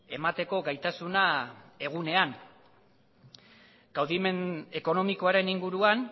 emateko gaitasuna egunean kaudimen ekonomikoaren inguruan